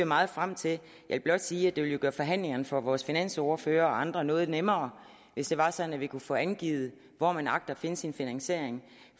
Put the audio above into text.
meget frem til jeg vil blot sige at det jo ville gøre forhandlingerne for vores finansordfører og andre noget nemmere hvis det var sådan at vi kunne få angivet hvor man agter at finde sin finansiering